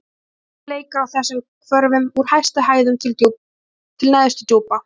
Sjálfið leikur á þessum hvörfum: úr hæstu hæðum til neðstu djúpa.